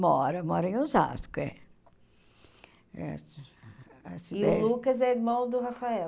Mora, mora em Osasco, é. E o Lucas é irmão do Rafael?